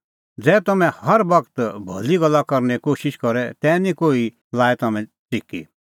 ज़ै तम्हैं हर बगत भली गल्ला करने कोशिश करे तै निं कोही लाऐ तम्हैं च़िकी